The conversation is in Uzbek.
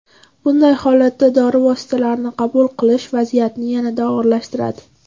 Bunday holatda dori vositalarini qabul qilish vaziyatni yanada og‘irlashtiradi.